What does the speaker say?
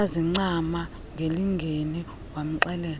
wazincama ngelingeni wamxelela